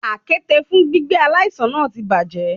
Àkéte fún gbígbé aláìsàn náà ti bàjẹ́.